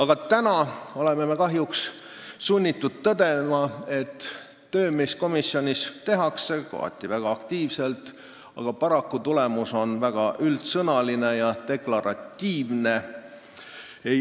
Kahjuks oleme sunnitud tõdema, et tööd tehakse komisjonis küll kohati väga aktiivselt, aga tulemus on väga üldsõnaline ja deklaratiivne.